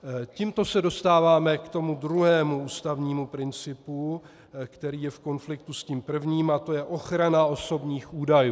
Tímto se dostáváme k tomu druhému ústavnímu principu, který je v konfliktu s tím prvním, a to je ochrana osobních údajů.